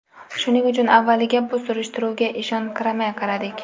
Shuning uchun avvaliga bu surishtiruvga ishonqiramay qaradik.